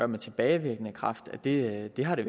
med tilbagevirkende kraft det har det